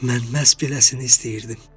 Mən məhz beləsini istəyirdim.